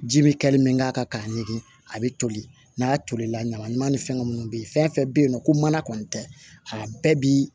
Ji bɛ kɛli min k'a kan k'a ɲimi a bɛ toli n'a tolila ɲamanɲaman ni fɛngɛ minnu bɛ ye fɛn fɛn bɛ yen nɔ ko mana kɔni tɛ a bɛɛ bi